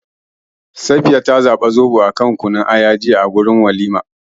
Safiya ta zabi Zoɓo a kan Kunun Aya a wajen walimar juya.